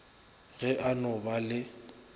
ge a no ba le